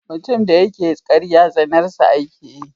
Mutum da yake ƙarya tsanar sa ake yi.